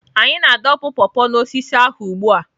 Anyị na-adọpụ paw paw n'osisi ahụ ugbu a.